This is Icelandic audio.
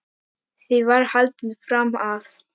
Því var haldið fram að